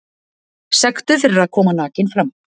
Sektuð fyrir að koma nakin fram